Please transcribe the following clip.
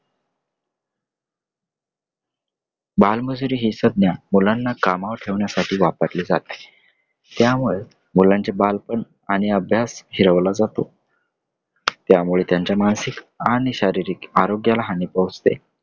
बालमजुरी हि संज्ञा मुलांना कामावर ठेवण्यासाठी वापरली जाते. त्यामुळे मुलांचे बालपण आणि अभ्यास हिरावला जातो. त्यामुळे त्यांच्या मानसिक आणि शारीरिक आरोग्याला हानी पोचते.